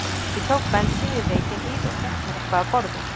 Ég tók bensín í Reykjahlíð og fékk mér eitthvað að borða.